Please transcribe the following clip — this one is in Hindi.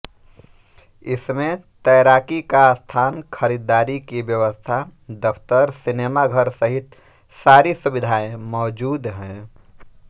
इसमें तैराकी का स्थान खरीदारी की व्यवस्था दफ़्तर सिनेमा घर सहित सारी सुविधाएँ मौजूद हैं